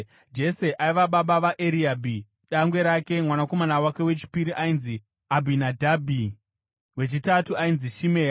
Jese aiva baba vaEriabhi dangwe rake; mwanakomana wake wechipiri ainzi Abhinadhabhi, wechitatu ainzi Shimea,